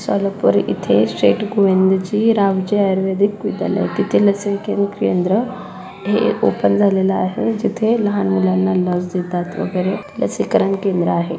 सोलपुर इथे शेट गोविंद ची रावजी आयुर्वेदिक विध्यालय आहे तिथे लसीकरण केंद्र हे ओपेन झालेलं आहे तिथे लहान मूलाना लस देतात वगैरे लसीकरण केंद्र आहे.